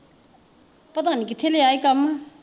ਪਤਾ ਨੀ ਕਥੇ ਲਿਆ ਈ ਕੰਮ।